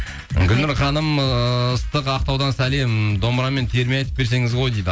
гүлнұр ханым ыыы ыстық ақтаудан сәлем домбырамен терме айтып берсеңіз ғой дейді